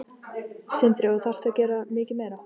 Sindri: Og þarftu að gera mikið meira?